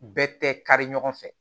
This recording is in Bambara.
Bɛɛ tɛ kari ɲɔgɔn fɛ